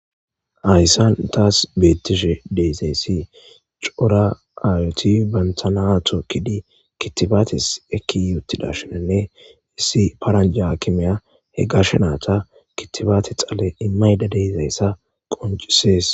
Hayssan taasi beetishe de'izayssi cora aayoti bantta na tookidi kittibaatesi ekkiyi uttida shin issi paaranjja aakimeya he gashe naytta kittibaate dhale immaydda de'izayssa qonccises.